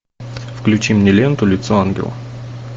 включи мне ленту лицо ангела